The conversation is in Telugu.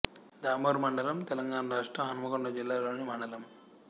దామెర మండలం తెలంగాణ రాష్ట్రం హన్మకొండ జిల్లా లోని మండలం